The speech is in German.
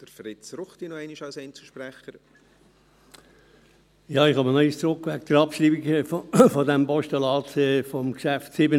Ich komme noch einmal auf die Abschreibung des Postulats von Traktandum 77 zurück.